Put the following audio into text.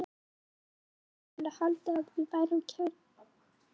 Sumir voru farnir að halda að við værum kærustupar og kannski vorum við það.